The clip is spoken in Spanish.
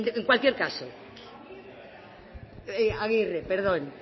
en cualquier caso eh agirre perdón